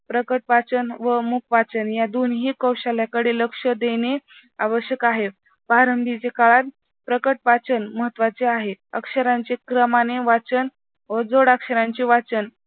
प्रकट वाचन व मूक वाचन या दोन्हीही कौशल्याकडे लक्ष देणे आवश्यक आहे. प्रारंभीच्या काळात प्रकट वाचन महत्त्वाचे आहे. अक्षराचे क्रमाने वाचन व जोडाक्षरांचे वाचन